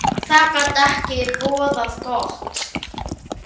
Jafnvel lengur.